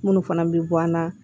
Minnu fana bɛ bɔ an na